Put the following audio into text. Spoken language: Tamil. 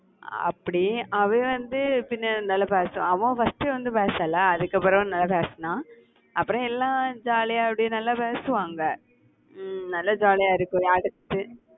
அப்படி அவன் வந்து பின்னாடி நல்லா பேசறான் அவன் first வந்து பேசல அதுக்கப்புறம், நல்லா பேசினான் அப்புறம் எல்லாம் jolly யா அப்படியே நல்லா பேசுவாங்க. உம் நல்லா ஜாலியா இருக்கும் அடுத்து